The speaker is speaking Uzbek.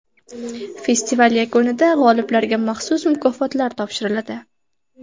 Festival yakunida g‘oliblarga maxsus mukofotlar topshiriladi.